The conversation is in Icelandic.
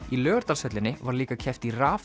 í Laugardalshöllinni var líka keppt í